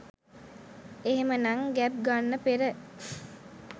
එහෙමනම් ගැබ් ගන්න පෙර